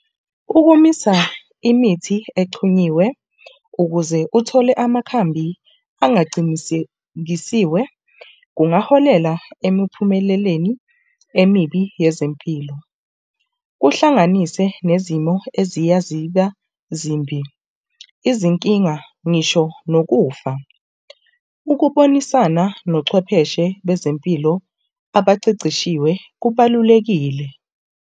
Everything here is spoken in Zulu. Ukumisa imithi exhunyiwe ukuze kuthole amakhambi angacinikekisiwe, kungaholela emiphumeleleni emibi yezempilo, kuhlanganise nezimo eziya ziba zimbi, izinkinga ngisho nokufa. Ukubonisana nochwepheshe bezempilo abaceceshiwe kubalulekile.